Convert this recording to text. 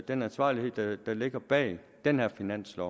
den ansvarlighed der ligger bag den her finanslov